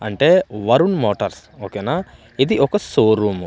అంటే వరుణ్ మోటార్స్ ఓకేనా ఇది ఒక సోరూమ్ .